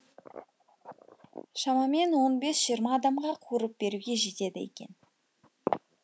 шамамен он бес жиырма адамға қуырып беруге жетеді екен